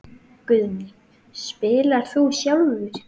Guðný: Spilar þú sjálfur?